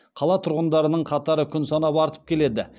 қала тұрғындарының қатары күн санап артып келеді